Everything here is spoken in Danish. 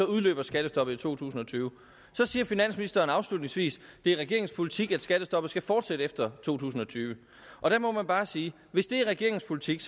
udløber skattestoppet i to tusind og tyve så siger finansministeren afslutningsvis at det er regeringens politik at skattestoppet skal fortsætte efter to tusind og tyve og der må man bare sige at hvis det er regeringens politik